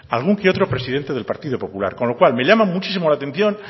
algún que otro presidente del partido popular con lo cual me llama muchísimo la atención